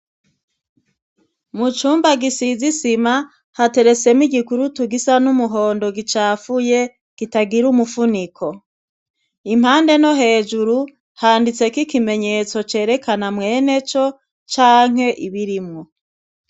Mu cumba gisize isima hateretsemwo igikurutu gisa n'umuhondo gicafuye gitagira umufuniko impande no hejuru handitseko ikimenyetso cerekana mweneco canke ibirimwo.